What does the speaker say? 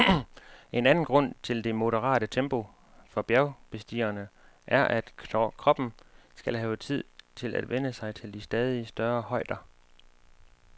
En anden grund til det moderate tempo for bjergbestigerne er, at kroppen skal have tid til at vænne sig til de stadig større højder.